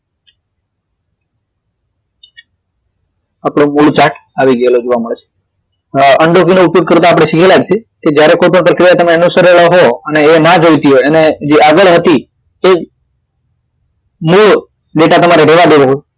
આપડો મૂળ chart આવી ગયેલો જોવા મળે છે undo key નો ઉપયોગ કરતા આપડે શીખેલા જ છીએ જ્યારે કોઈ પણ પ્રક્રિયા તમે અનુસરેલા હો અને એ ના જોઈતી હોય અને જે આગળ હતી તે જો મોટા તમારે રેવા દેવું હોય